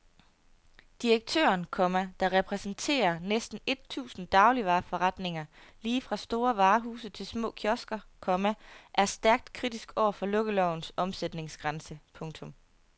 Direktøren, komma der repræsenterer næsten et tusind dagligvareforretninger lige fra store varehuse til små kiosker, komma er stærkt kritisk over for lukkelovens omsætningsgrænse. punktum